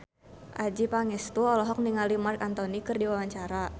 Adjie Pangestu olohok ningali Marc Anthony keur diwawancara